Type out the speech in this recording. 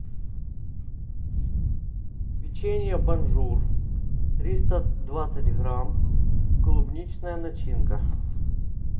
печенье бонжур триста двадцать грамм клубничная начинка